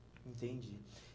Entendi.